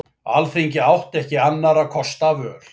Alþingi átti ekki annarra kosta völ